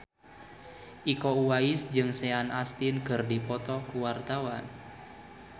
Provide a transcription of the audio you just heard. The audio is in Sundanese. Iko Uwais jeung Sean Astin keur dipoto ku wartawan